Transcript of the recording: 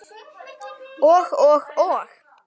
Og og og?